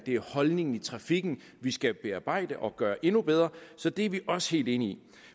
holdningen i trafikken vi skal bearbejde og gøre endnu bedre så det er vi også helt enige i